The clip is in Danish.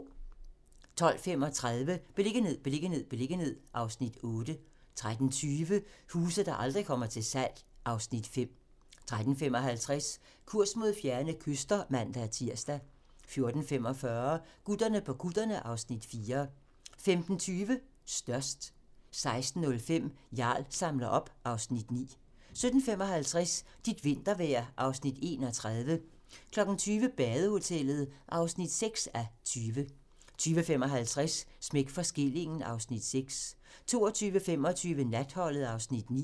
12:35: Beliggenhed, beliggenhed, beliggenhed (Afs. 8) 13:20: Huse, der aldrig kommer til salg (Afs. 5) 13:55: Kurs mod fjerne kyster (man-tir) 14:45: Gutterne på kutterne (Afs. 4) 15:20: Størst 16:05: Jarl samler op (Afs. 9) 17:55: Dit vintervejr (Afs. 31) 20:00: Badehotellet (3:20) 20:55: Smæk for skillingen (Afs. 6) 22:25: Natholdet (Afs. 9)